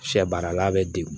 Sɛ baarala bɛ degun